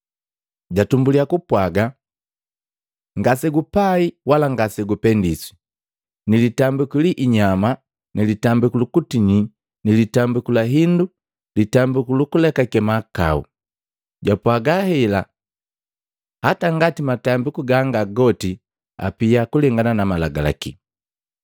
Jatumbuliya kupwaga, “Ngasegupai wala ngasegupendeswa ni litambi liinyama na litambiku lukutinyi na litambiku la hindu litambiku lukuleka mahakau.” Japwaga hela hata ngati matambiku ganga goti apia kulengana na Malagalaki.